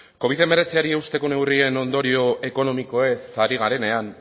covid hemeretziri eusteko neurrien ondorio ekonomikoez ari garenean